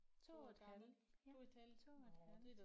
2 et halvt ja 2 et halvt